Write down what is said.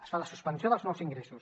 es fa la suspensió dels nous ingressos